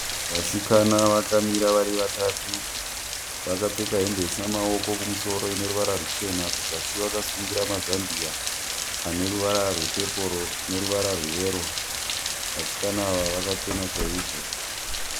Vasikana vakamira vari vatatu. Vakapfeka hembe isina maoko kumusoro ineruvara ruchena. Kuzasi vakasungira mazambia ane ruvara rwepepuro neruvara rweyero. Vasikana ava vakachena chaizvo.